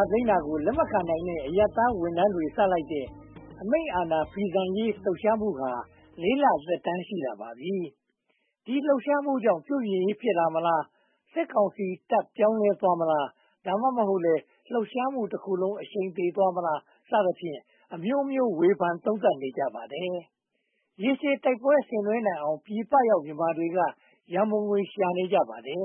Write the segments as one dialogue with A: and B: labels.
A: ာသိမ်းတာကို လက်မခံနိုင်တဲ့ အရပ်သားဝန်ထမ်းတွေ စလိုက်တဲ့ အမိန့််အာဏာဖီဆန်ရေး လှုပ်ရှားမှုဟာ လ သက်တမ်း ရှိလာပါပြီ။ ဒီလှုပ်ရှားမှုကြောင့် ပြုပြင်ရေး ဖြစ်လာမလား။ စစ်ကောင်စီတပ် ပြောင်းလဲသွားမလား။ ဒါမှမဟုတ်လဲ လှုပ်ရှားမှုတခုလုံး အရှိန်သေသွားမလား စသဖြင့် အမျိုးမျိုးဝေဖန်သုံးသပ်နေကြပါတယ်။ ရေရှည်တိုက်ပွဲဆင်နွဲနိုင်အောင် ပြည်ပရောက် မြန်မာတွေက ရန်ပုံငွေ ရှာနေကြပါတယ်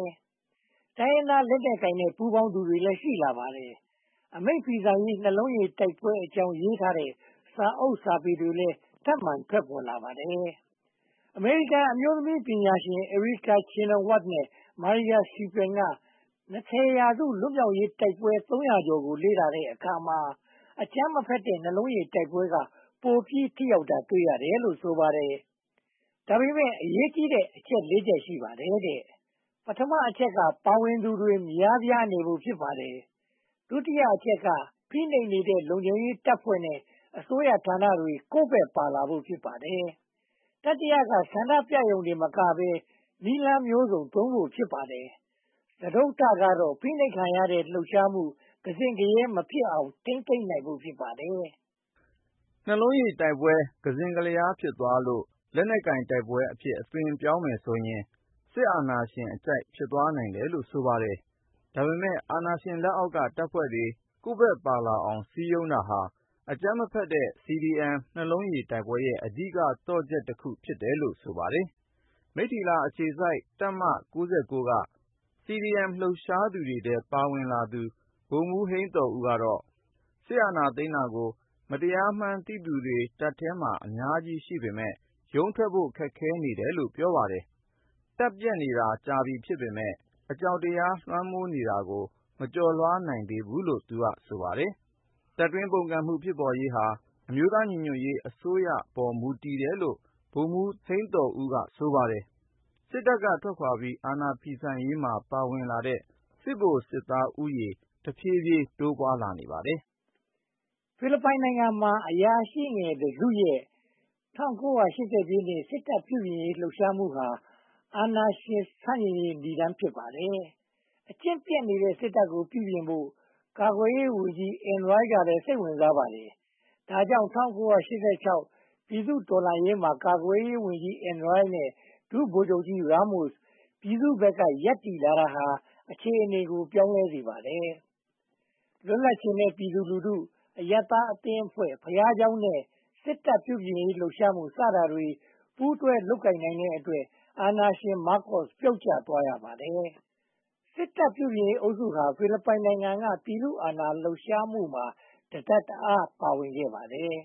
A: ။ တိုင်းရင်းသားလက်နက်ကိုင်တွေနဲ့ ပူးပေါင်းသူတွေလည်း ရှိလာပါတယ်။ အမိန့်ဖီဆန်ရေး နှလုံးရည်တိုက်ပွဲအကြောင်း ရေးထားတဲ့ စာအုပ်စာပေတွေလည်း ထပ်မံထွက်ပေါ်လာပါတယ်။ အမေရိကန်အမျိုးသမီးပညာရှင် Erica Chenoweth နဲ့ Maria Stephen က ၂၀ ရာစု လွတ်မြောက်ရေး တိုက်ပွဲသုံးရာကျော်ကို လေ့လာတဲ့အခါမှာ အကြမ်းမဖက်တဲ့ နှလုံးရည်တိုက်ပွဲက ပိုပြီးထိရောက်တာ တွေ့ရတယ်လို့ ဆိုပါတယ်။ ဒါပေမဲ့ အရေးကြီးတဲ့ အချက် ချက် ရှိပါတယ်တဲ့။ ပထမအချက်က ပါဝင်သူတွေ များပြားနေဖို့ ဖြစ်ပါတယ်။ ဒုတိယအချက်က ဖိနှိပ်နေတဲ့ လုံခြုံရေးတပ်ဖွဲ့တွေနဲ့ အစိုးရဌာနတွေ ကိုယ်ဘက်ပါလာဖို့ ဖြစ်ပါတယ်။ တတိယက ဆန္ဒပြရုံတင်မကဘဲ နည်းလမ်းမျိုးစုံသုံးဖို့ ဖြစ်ပါတယ်။ စတုတ္ထကတော့ ဖိနှိပ်ခံရတဲ့အခါ လှုပ်ရှားမှု ကစဉ့်ကရဲ မဖြစ်အောင် ထိန်းသိမ်းနိုင်ဖို့ ဖြစ်ပါတယ်
B: ။ နှလုံးရည်တိုက်ပွဲ ကစဉ့်ကလျား ဖြစ်သွားလို့ လက်နက်ကိုင်တိုက်ပွဲအဖြစ် အသွင်ပြောင်းမယ်ဆိုရင် စစ်အာဏာရှင်အကြိုက် ဖြစ်သွားနိုင်တယ်လို့ ဆိုပါတယ်။ ဒါပေမဲ့ အာဏာရှင်လက်အောက်က တပ်ဖွဲ့တွေ ကိုယ့်ဘက်ပါလာအောင် စည်းရုံးတာဟာ အကြမ်းမဖက်တဲ့ CDM နှလုံးရည်တိုက်ပွဲရဲ့ အဓိကသော့ချက်တခု ဖြစ်တယ်လို့ ဆိုပါတယ်။ မိတ္ထီလာ အခြေစိုက်တပ်မ က CDM လှုပ်ရှားမှုထဲ ပါဝင်လာသူ ဗိုလ်မှူးဟိန်းသော်ဦးကတော့ စစ်အာဏာသိမ်းတာကို မတရားမှန်းသိသူတွေ တပ်ထဲမှာ အများကြီးရှိပေမယ့် ရုန်းထွက်ဖို့ ခက်ခဲနေတယ်လို့ ပြောပါတယ်။ တပ်ပျက်နေတာ ကြာပြီဖြစ်ပေမယ့် အကြောက်တရား လွှမ်းမိုးနေတာကို မကျော်လွှာနိုင်သေးဘူးလို့ ဆိုပါတယ်။ တပ်တွန်းပုန်ကန်မှု ဖြစ်ပေါ်ရေးဟာ အမျိုးသားညီညွှတ်ရေးအစိုးရပေါ် တည်တယ်လို့ ဗိုလ်မှူးဟိန်းသော်ဦးက ဆိုပါတယ်။ စစ်တပ်ကထွက်ခွါပြီး အာဏာဖီဆန်ရေးမှာ ပါဝင်လာတဲ့ စစ်ဗိုလ်စစ်သားဦးရေ တဖြည်းဖြည်းတိုးပွားနေပါတယ်
A: ။ ဖိလစ်ပိုင်နိုင်ငံမှာ အရာရှိငယ်တစုရဲ့ ၁၉၈၀ ပြည့်နှစ် စစ်တပ်ပြုပြင်ရေးလှုပ်ရှားမှုဟာ အာဏာရှင်ဆန့်ကျင်ရေး နိဒါန်း ဖြစ်ပါတယ်။ အကျင့်ပျက်နေတဲ့ စစ်တပ်ကို ပြုပြင်ဖို့ ကာကွယ်ရေးဝန်ကြီး Enrile ကလည်း စိတ်ဝင်စားပါတယ်။ ဒါကြောင့် ၁၉၈၆ ပြည်သူ့တော်လှန်ရေးမှာ ကာကွယ်ရေးဝန်ကြီး Enrile နဲ့ ဒုဗိုလ်ချုပ်ကြီး Ramos ပြည်သူ့ဘက်က ရပ်တည်လာတာဟာ အခြေအနေကို ပြောင်းလဲစေပါတယ်။ လွတ်လပ်ချင်တဲ့ ပြည်သူလူထု၊ အရပ်သားအဖွဲ့၊ ဘုရားကျောင်းနဲ့ စစ်တပ်ပြုပြင်ရေး လှုပ်ရှားမှု စတာတွေ ပူးတွဲလုပ်ကိုင်နိုင်တဲ့အတွက် အာဏာရှင် မားကိုစ် ပြုတ်ကျသွားရပါတယ်။ စစ်တပ်ပြုပြင်ရေးအုပ်စုဟာ ဖိလစ်ပိုင်နိုင်ငံက ပြည်သူ့အာဏာလှုပ်ရှားမှုမှာ တတပ်တအား ပါဝင်ခဲ့ပါတယ်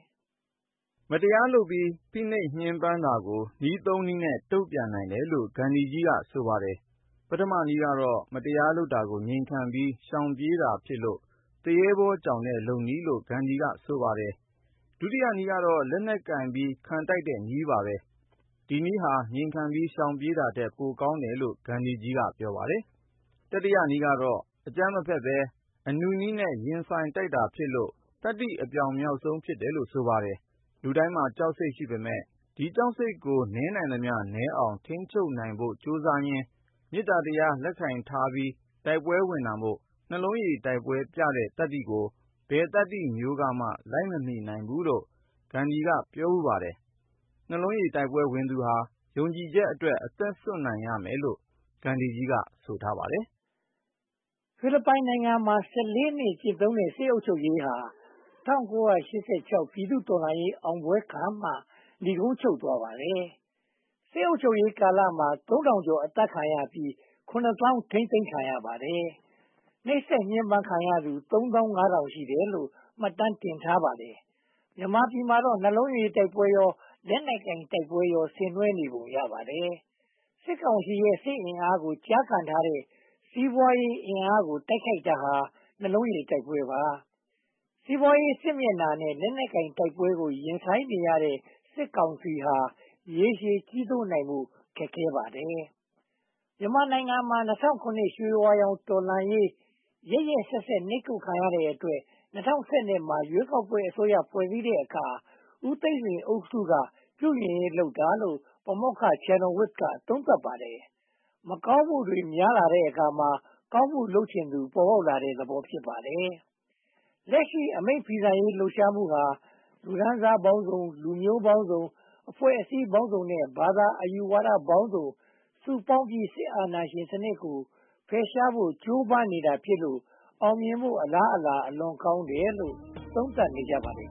B: ။ မတရားလုပ်ပြီး ဖိနှိပ်ညှဉ်းပန်းတာကို နည်း နည်းနဲ့ တုံ့ပြန်နိုင်တယ်လို့ ဂန္ဓီကြီးက ဆိုပါတယ်။ ပထမနည်းက မတရားလုပ်တာကို ငြိမ်ခံပြီး ရှောင်ပြေးတာဖြစ်လို့ သူရဲဘောကြောင်တဲ့နည်းလို့ ဂန္ဓီကြီးက ဆိုပါတယ်။ ဒုတိယနည်းကတော့ လက်နက်ကိုင်ပြီး ခံတိုက်တဲ့နည်း ဖြစ်ပါတယ်။ ဒီနည်းဟာ ငြိမ်ခံပြီး ရှောင်ပြေးတာထက် ပိုကောင်းတယ်လို့ ဂန္ဓီကြီးကပြောတယ်။ တတိယနည်းကတော့ အကြမ်းမဖက်ဘဲ အနုနည်းနဲ့ ရင်ဆိုင်တိုက်တာဖြစ်လို့ သတ္တိအပြောင်ဆုံးဖြစ်တယ်လို့ ဆိုပါတယ်။ လူတိုင်းမှာ ကြောက်စိတ်ရှိပေမယ့် ဒီကြောက်စိတ်ကို နည်းနိုင်သမျှ ထိန်းသိမ်းဖို့ကြိုးစားရင်း မေတ္တာတရား လက်ကိုင်ထားပြီး တိုက်ပွဲဝင်တာမို့ နှလုံးရည်တိုက်ပွဲမှာ ပြတဲ့သတ္တိကို ဘယ်သတ္တိမျိုးမှ လိုက်မမီဘူးလို့ ဂန္ဓီကြီးက ပြောဖူးပါတယ်။ နှလုံးရည်တိုက်ပွဲဝင်သူဟာ ယုံကြည်ချက်အတွက် အသက်စွန့်နိုင်ရမယ်လို့ ဂန္ဓီကြီးက ဆိုပါတယ်
A: ။ ဖိလစ်ပိုင်နိုင်ငံမှာ နှစ် ကျင့်သုံးတဲ့ စစ်အုပ်ချုပ်ရေးဟာ ၁၉၈၆ ပြည်သူ့တော်လှန်ရေး အောင်ပွဲခံမှ နိဂုံးချုပ်သွားပါတယ်။ စစ်အုပ်ချုပ်ရေးကာလမှာ ပြည်သူ ကျော် အသတ်ခံရပြီး၊ ထိန်းသိမ်းခံရပါတယ်။ နှိပ်စက်ညှဉ်းပမ်းခံရသူ ရှိတယ်လို့ မှတ်တမ်းတင်ထားပါတယ်။ မြန်မာပြည်မှာတော့ နှလုံးရည်တိုက်ပွဲရော၊ လက်နက်ကိုင်တိုက်ပွဲရော ဆင်နွှဲနေပုံရပါတယ်။ စစ်ကောင်စီရဲ့ စစ်အင်အားကို ကျားကန်ထားတဲ့ စီးပွားရေးအင်အားကို တိုက်ခိုက်တာဟာ နှလုံးရည်တိုက်ပွဲပါ။ စီးပွားရေးစစ်မျက်နှာနဲ့ လက်နက်ကိုင် တိုက်ပွဲကို ရင်ဆိုင်နေရတဲ့ စစ်ကောင်စီဟာ ရေရှည်ကြီးစိုးနိုင်ဖို့ ခက်ခဲပါတယ်။ မြန်မာနိုင်ငံမှာ ၂၀၀၇ ရွှေဝါရောင် တော်လှန်ရေး ရက်ရက်စက်စက် နှိပ်ကွပ်ခံရတဲ့အတွက် ၂၀၁၂ မှာ ရွေးကောက်ပွဲအစိုးရ ဖွဲ့စည်းတဲ့အခါမှာ ဦးသိန်းစိန်အစိုးရက ပြုပြင်ရေးလုပ်တာလို့ ပါမောက္ခ Chenoweth က သုံးသပ်ပါတယ်။ လက်ရှိ အာဏာဖီဆန်ရေးလှုပ်ရှားမှုဟာ လူတန်းစားပေါင်းစုံ၊ လူမျိုးပေါင်းစုံ၊ အဖွဲ့အစည်းပေါင်းစုံနဲ့ ဘာသာအယူဝါဒပေါင်းစုံ စုပေါင်းပြီး၊ စစ်အာဏာရှင်စနစ်ကို ဖယ်ရှားဖို့ ကြိုးပမ်းနေတာဖြစ်လို့ အောင်မြင်ဖို့ အလားအလာ အလွန်ကောင်းတယ်လို့ သုံးသပ်နေကြပါတယ်